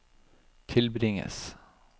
tilbringes